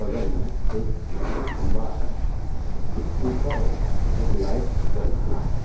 बगल में एक खंभा है उसके ऊपर एक लाइट जल रहा है।